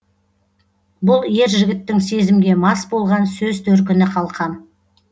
бұл ер жігіттің сезімге мас болған сөз төркіні қалқам